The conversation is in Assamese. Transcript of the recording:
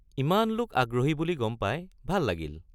ইমান লোক আগ্রহী বুলি গম পাই ভাল লাগিল।